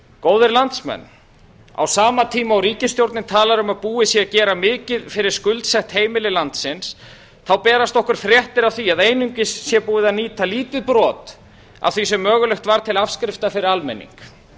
góðir landsmenn á sama tíma og ríkisstjórnin talar um að búið sé að gera mikið fyrir skuldsett heimili landsins þá berast okkur fréttir af því að einungis sé búið að nýta lítið brot af því sem mögulegt var til afskrifta fyrir almenning